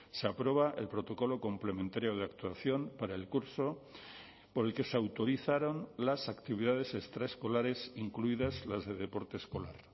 se aprueba el protocolo complementario de actuación para el curso por el que se autorizaron las actividades extraescolares incluidas las de deporte escolar